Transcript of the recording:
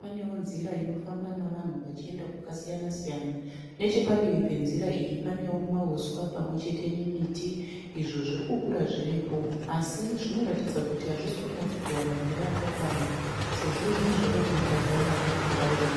paneo nzira inofamba nevanhu vachienda kwakasiyana siyana. nechepadivi penzira iyi paneo mahuswa pamwe chete nemiti izvo zvirikukura zviripo, asi zvinoratidza kuti hazvisikunyatsokuwana mvura yakakwana sezvo zvimwe zvava kuita ruwara rwe bhurauni.